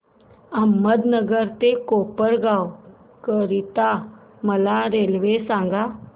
अहमदनगर ते कोपरगाव करीता मला रेल्वे सांगा